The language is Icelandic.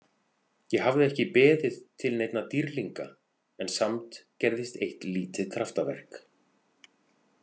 Ég hafði ekki beðið til neinna dýrlinga en samt gerðist eitt lítið kraftaverk.